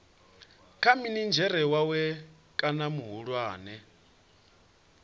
kha minidzhere wawe kana muhulwane